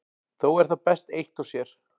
Þó er það best eitt og sér.